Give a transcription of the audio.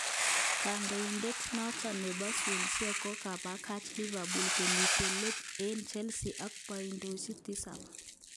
Kadoinatan noton nebo Swansea kokabakach Liverpool komiten let eng Chelsea ak poidishek tisab.